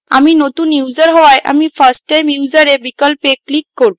আমি নতুন user হওয়ায় আমি first time user বিকল্পে click করব